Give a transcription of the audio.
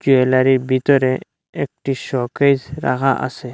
জুয়েলারির বিতরে একটি শোকেস রাখা আসে ।